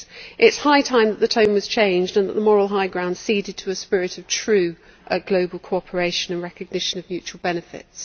It is high time that the tone was changed and that the moral high ground ceded to a spirit of true global cooperation and recognition of mutual benefits.